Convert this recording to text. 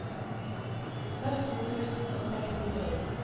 førti tusen og sekstini